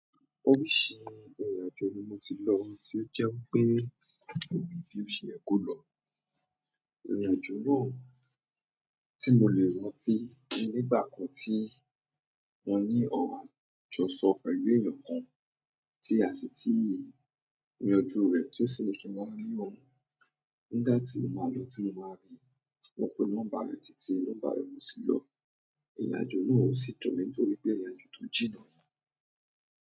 Oríṣi ìrìn àjò ni mo ti lọ tí ó jẹ́ pé òbí tí ó ṣe é kó lọ. Ìrìn àjò náà tí mo lè rántí nígbà kan tí mo ní ọ̀rọ àjọṣọ pẹ̀lú èèyàn kan tí a sì ti yanju rẹ̀ tí ó sì ní kí n wá rí òun. Nígbà tí mo máa lọ tí mo máa de, wọ́n pe nọ́mbà mi titi nọ́mbà rẹ̀ o sì lọ. Ìrìn àjò náà ò sí dùn nítorí pé ìrìn àjò tó jìnnà ni.